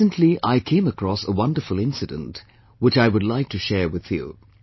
Recently I came across a wonderful incident, which I would like to share with you